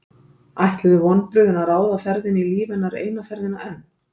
Ætluðu vonbrigðin að ráða ferðinni í lífi hennar eina ferðina enn?